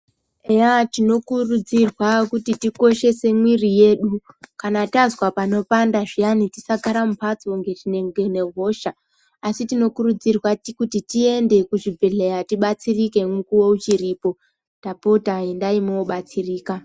Eyaa tinokurudzirwa kuti tikodhese muwiri yedu kana tanzwa panopapanda zviyani tisagara mumbatso ngehosha asi tinokurudzirwa kuti tiende kuzvibhedhleya tibatisirike mukuwo uchiripo ndapota endai mwobatsirika.